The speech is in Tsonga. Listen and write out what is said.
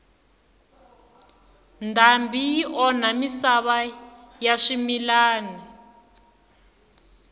ndhambi yi onha misava ya swimilana